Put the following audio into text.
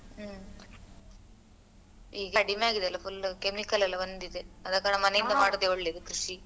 ಹ್ಮ್ ಈಗ ಕಡಿಮೆ ಆಗಿದಲ್ಲ full chemical ಎಲ್ಲ ಬಂದಿದೆ ಅದ ಕಾರಣ ಮನೆಯಿಂದ ಮಾಡುದೆ ಒಳ್ಳೇದು ಕೃಷಿ.